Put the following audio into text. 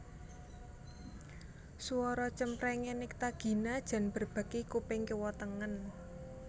Suara cempreng e Nycta Gina jan mbrebeki kuping kiwa tengen